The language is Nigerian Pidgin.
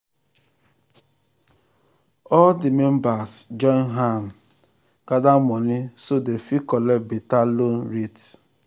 all di members join hand join hand gather money so dem fit collect better loan rate.